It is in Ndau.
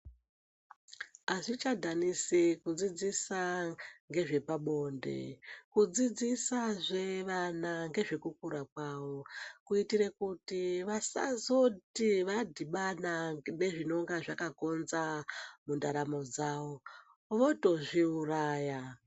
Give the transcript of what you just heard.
Azvichadhanisi kudzidzisa nezvepabonde kudzidzisa zvevana nezvekukura kwavo kuitira kuti vasazoti vadhibana nezvinenge zvakakonza mundaramo dzawo votozviuraya.